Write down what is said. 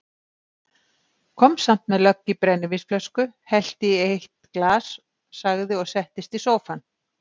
Kom samt með lögg í brennivínsflösku, hellti í eitt glas, sagði og settist í sófann